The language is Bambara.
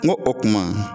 N go o kuma